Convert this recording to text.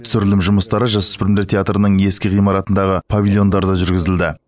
түсірілім жұмыстары жасөспірімдер театрының ескі ғимаратындағы павильондарда жүргізілді